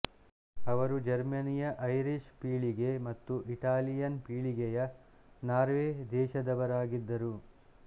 ಅವರು ಜರ್ಮನಿಯ ಐರೀಶ್ ಪೀಳಿಗೆ ಮತ್ತು ಇಟಾಲಿಯನ್ ಪೀಳಿಗೆಯ ನಾರ್ವೇ ದೇಶದವರಾಗಿದ್ದರು